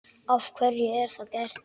Af hverju er það gert?